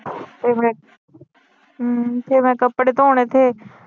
ਹਮ ਫਿਰ ਮੈ ਕੱਪੜੇ ਧੋਣੇ ਥੇ।